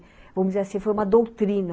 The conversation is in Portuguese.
Vamos dizer assim, foi uma doutrina.